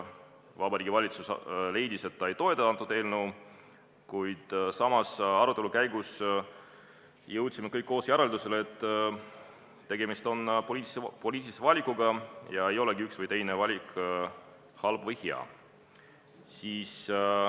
Vabariigi Valitsus leidis, et ta ei toeta seda eelnõu, kuid arutelu käigus jõudsime kõik koos järeldusele, et tegemist on poliitilise valikuga ja ei olegi üks või teine valik halb või hea.